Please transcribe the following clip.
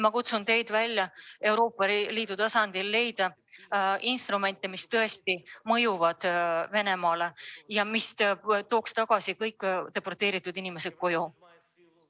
Ma kutsun teid üles leidma Euroopa Liidu tasandil instrumente, mis tõesti mõjuksid Venemaale ja mis tooksid kõik deporteeritud inimesed tagasi koju.